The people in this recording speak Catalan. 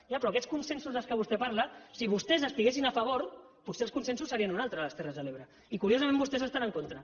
ja però aquests consensos de què vostè parla si vostès hi estiguessin a favor potser els consensos serien uns altres a les terres de l’ebre i curiosament vostès hi estan en contra